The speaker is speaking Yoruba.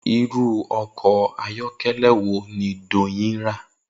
Irú o̩kò̩ ayó̩ké̩lé̩ wo ni Doyin ra?